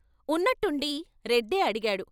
ఉన్నట్టుండి రెడ్డే అడిగాడు.